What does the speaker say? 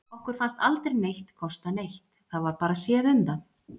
Okkur fannst aldrei neitt kosta neitt, það var bara séð um það.